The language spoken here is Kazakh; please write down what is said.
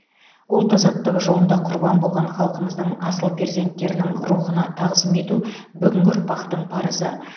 ұлт азаттығы жолында құрбан болған халқымыздың асыл перзентінің рухына тағзым ету бүгінгі ұрпақтың парызы